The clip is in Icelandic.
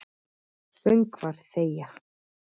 Söngvar þegja.